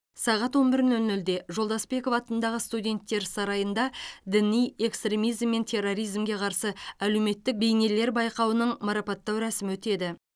сағат он бір нөл нөлде жолдасбеков атындағы студенттер сарайында діни экстремизм мен терроризмге қарсы әлеуметтік бейнелер байқауының марапаттау рәсімі өтеді